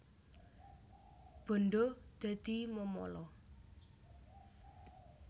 Bandha dadi memala